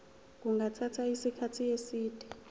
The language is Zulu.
kungathatha isikhathi eside